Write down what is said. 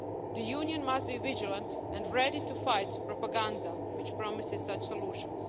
The Union must be vigilant and ready to fight propaganda which promises such solutions.